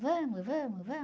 Vamos, vamos, vamos.